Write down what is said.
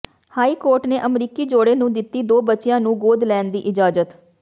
high court ਨੇ ਅਮਰੀਕੀ ਜੋੜੇ ਨੂੰ ਦਿੱਤੀ ਦੋ ਬੱਚਿਆਂ ਨੂੰ ਗੋਦ ਲੈਣ ਦੀ ਇਜਾਜ਼ਤ